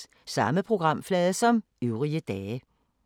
Samme programflade som øvrige dage